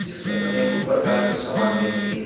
जिसमें अनेंको प्रकार की समान मिलती हैं।